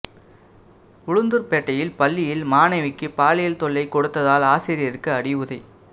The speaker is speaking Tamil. உளுந்தூர்பேட்டையில் பள்ளியில் மாணவிக்கு பாலியல் தொல்லை கொடுத்ததால் ஆசிரியருக்கு அடி உதை